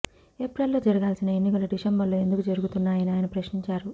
April లో జరగాల్సిన ఎన్నికలు డిసెంబర్ లో ఎందుకు జరుగుతున్నాయని ఆయన ప్రశ్నించారు